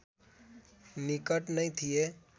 निकट नै थिए